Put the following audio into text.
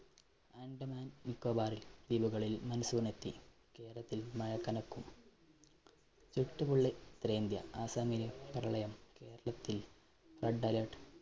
നിക്കൊബാറില്‍ ദ്വീപുകളില്‍ monsoon എത്തി. കേരളത്തില്‍ മഴ കനക്കും. ചുട്ടുപൊള്ളി ഉത്തരേന്ത്യ ആസ്സാമിലും പ്രളയം കേരളത്തില്‍ red alert.